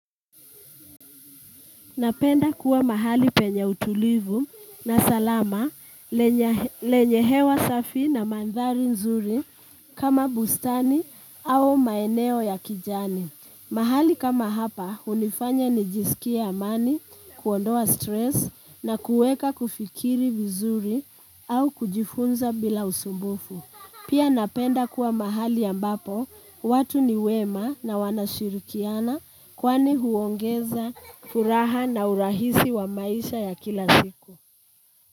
Napenda kuwa mahali penye utulivu na salama lenye hewa safi na mandhari nzuri kama bustani au maeneo ya kijani. Mahali kama hapa unifanya nijisikia amani, kuondoa stress na kueka kufikiri vizuri au kujifunza bila usumbufu. Pia napenda kuwa mahali ambapo watu ni wema na wanashirikiana kwani huongeza furaha na urahisi wa maisha ya kila ziku.